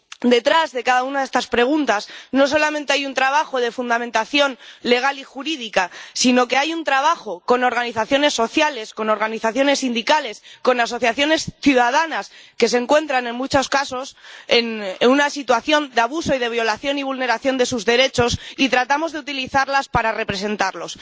Detrás de cada una de estas preguntas no solamente hay un trabajo de fundamentación legal y jurídica, sino que hay un trabajo con organizaciones sociales, con organizaciones sindicales, con asociaciones ciudadanas que se encuentran, en muchos casos, en una situación de abuso y de violación y vulneración de sus derechos, y tratamos de utilizarlas para representarlos.